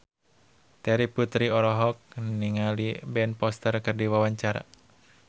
Terry Putri olohok ningali Ben Foster keur diwawancara